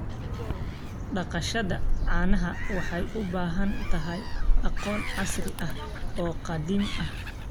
Dhaqashada caanaha waxay u baahan tahay aqoon casri ah oo qadiimi ah.